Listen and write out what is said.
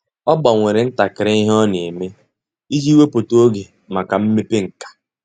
Ọ́ gbanwere ntakịrị ihe ọ́ nà-ème iji wèpụ́tá oge màkà mmepe nkà.